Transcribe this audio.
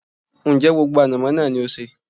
Ń jẹ́ gbogbo ànàmọ́ náà ni ó sé?